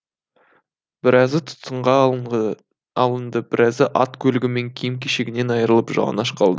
біразы тұтқынға алынды біразы ат көлігі мен киім кешегінен айрылып жалаңаш қалды